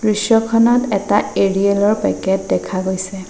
দৃশ্যখনত এটা এৰিয়েল ৰ পেকেট দেখা গৈছে।